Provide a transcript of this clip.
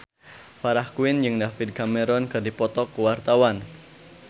Farah Quinn jeung David Cameron keur dipoto ku wartawan